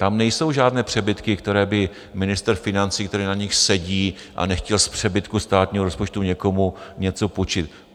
Tam nejsou žádné přebytky, které by ministr financí, který na nich sedí a nechtěl z přebytku státního rozpočtu někomu něco půjčit.